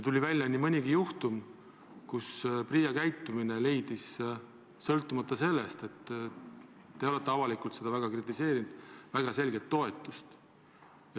Tuli välja nii mõnigi juhtum, kui PRIA käitumine on leidnud, sõltumata sellest, et te olete avalikult seda väga kritiseerinud, väga selgelt toetust.